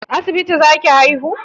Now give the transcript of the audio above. A asibiti za ki haihu?